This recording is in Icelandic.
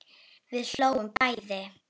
Við hlógum bæði.